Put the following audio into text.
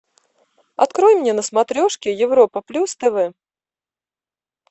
открой мне на смотрешке европа плюс тв